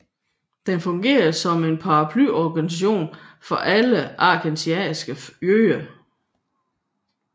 Den fungerede som en paraplyorganisasjon for alle askenasiske jøder